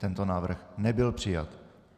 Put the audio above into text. Tento návrh nebyl přijat.